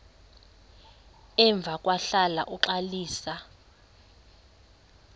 emva kwahlala uxalisa